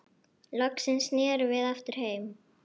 Loksins snerum við aftur heim.